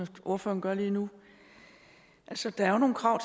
ordføreren gør lige nu altså der er jo nogle krav